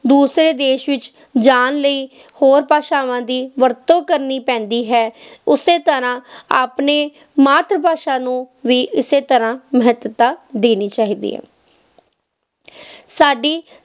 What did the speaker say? ਦੂਸਰੇ ਦੇਸ ਵਿੱਚ ਜਾਣ ਲਈ ਹੋਰ ਭਾਸ਼ਾਵਾਂ ਦੀ ਵਰਤੋਂ ਕਰਨੀ ਪੈਂਦੀ ਹੈ, ਉਸੇ ਤਰ੍ਹਾਂ ਆਪਣੀ ਮਾਤ ਭਾਸ਼ਾ ਨੂੰ ਵੀ ਇਸੇ ਤਰ੍ਹਾਂ ਮਹੱਤਤਾ ਦੇਣੀ ਚਾਹੀਦੀ ਹੈ ਸਾਡੀ